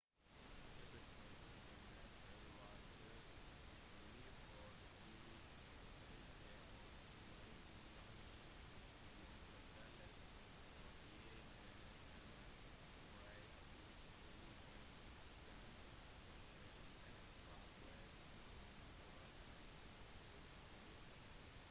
skipet på 100-meter var på vei for å plukke opp sin vanlige gjødsellast og i tjenestemenn fryktet i utgangspunktet at fartøyet kunne forårsake utslipp